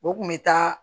O kun bɛ taa